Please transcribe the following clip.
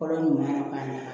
Kɔrɔ nunnu ɲuma na k'a ɲa